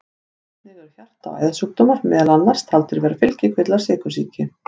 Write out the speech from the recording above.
Einnig eru hjarta- og æðasjúkdómar meðal annars taldir vera fylgikvillar sykursýki.